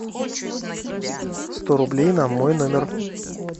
сто рублей на мой номер